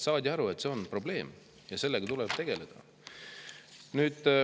Saadi aru, et see on probleem ja sellega tuleb tegeleda.